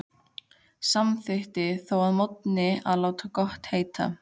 Samþykkti þó að morgni að láta gott heita.